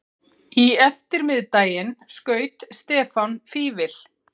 Í eftirmiðdaginn skaut Stefán Fífil.